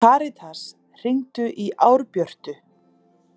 Karitas, hringdu í Árbjörtu.